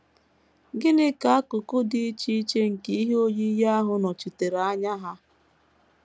Gịnị ka akụkụ dị iche iche nke ihe oyiyi ahụ nọchitere anya ha?